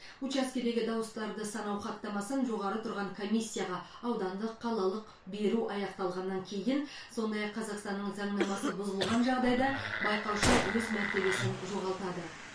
учаскедегі дауыстарды санау хаттамасын жоғары тұрған комиссияға аудандық қалалық беру аяқталғаннан кейін сондай ақ қазақстанның заңнамасы бұзылған жағдайда байқаушы өз мәртебесін жоғалтады